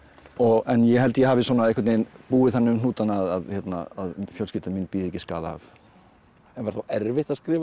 en ég held ég hafi búið þannig um hnútana að fjölskylda mín bíði ekki skaða af en var þá erfitt að skrifa þessa